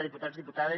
diputats diputades